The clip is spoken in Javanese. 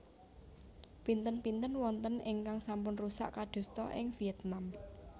Pinten pinten wonten ingkang sampun rusak kadosta ing Vietnam